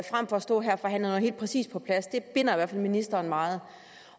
frem for at stå her og forhandle noget helt præcist på plads det binder fald ministeren meget